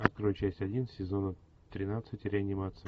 открой часть один сезона тринадцать реанимация